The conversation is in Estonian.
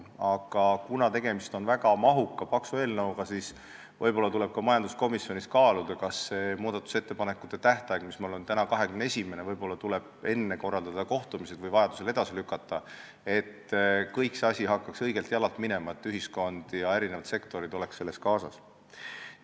Aga kuna tegemist on väga mahuka, paksu eelnõuga, tuleb võib-olla majanduskomisjonis kaaluda, kas korraldada kohtumisi enne muudatusettepanekute tähtaega, mis on praegu 21.11, või seda vajadusel edasi lükata, et kõik see asi hakkaks õigelt jalalt minema ning ühiskond ja erinevad sektorid oleks kaasatud.